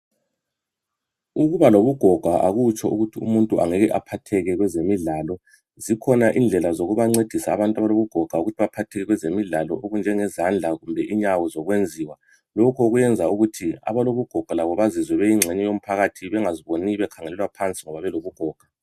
Ukuba lobugoga akutsho ukuthi umuntu angeke aphatheke kwezemidlalo. Zikhona indlela zokubancedisa abantu abalobugoga zokuthi baphatheke kwezemidlalo okunjengezandla kumbe inyawozokwenziwa. Lokhu kwenza ukuthi abalobugoga labo bezizwe beyingxenye yomphakathi bengaziboni bekhangelelwa phansi ngoba belobugoga.